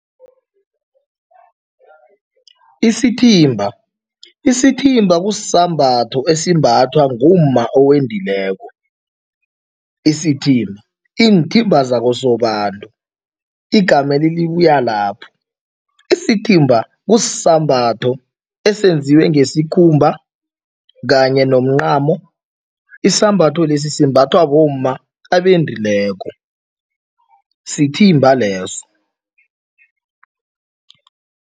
Isithimba, isithimba kusisambatho esimbathwa ngumma owendileko. Isithimba, iinthimba zakosobantu, igameli libuya lapho. Isithimba kusisambatho esenziwe ngesikhumba kanye nomncamo. Isambatho lesi simbathwa bomma abendileko, sithimba leso.